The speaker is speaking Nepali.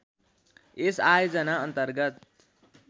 यस आयोजना अन्तर्गत